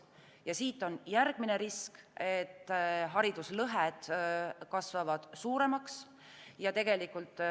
Ja siit on järgmine risk, et hariduslõhed kasvavad suuremaks.